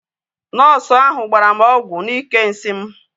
Nọọsu ahu gbara m ọgwụ n'ike nsị m